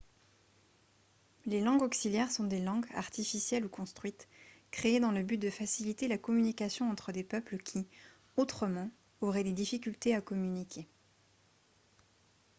les langues auxiliaires sont des langues artificielles ou construites créées dans le but de faciliter la communication entre des peuples qui autrement auraient des difficultés à communiquer